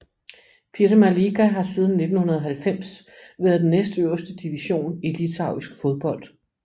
Pirma lyga har siden 1990 været den næstøverste division i litauisk fodbold